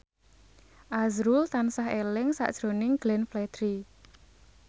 azrul tansah eling sakjroning Glenn Fredly